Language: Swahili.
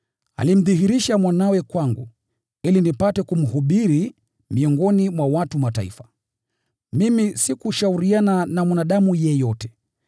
alimdhihirisha Mwanawe kwangu, ili nipate kumhubiri miongoni mwa watu wa Mataifa. Mimi sikushauriana na mwanadamu yeyote,